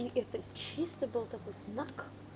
и это чисто был такой знак